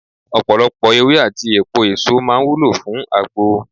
Ọ̀pọ̀lọpọ̀ ewé àti èpo èso máa ń wúlò fún agbo.